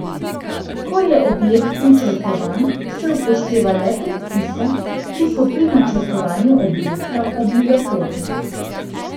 Ko je objekt načrtovan, se upošteva le predpise, ki so pri načrtovanju objekta obligatorni.